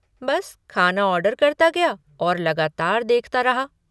बस खाना ऑर्डर करता गया और लगातार देखता रहा।